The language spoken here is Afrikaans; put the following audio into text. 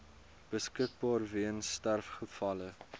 beskikbaar weens sterfgevalle